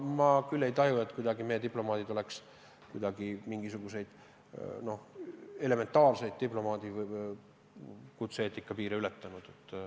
Ma pole tajunud, et meie diplomaadid oleks kuidagi elementaarseid diplomaadi kutse-eetika piire ületanud.